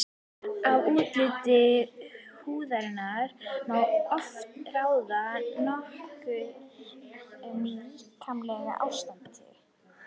Af útliti húðarinnar má oft ráða nokkuð um líkamlegt ástand.